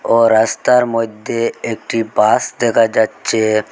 ও রাস্তার মধ্যে একটি বাস দেখা যাচ্চে।